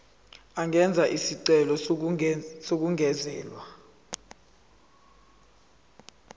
angenza isicelo sokungezelelwa